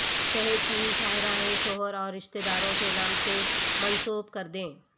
شہر کی شاہراہیں شوہر اور رشتے داروں کے نام سے منسوب کردیں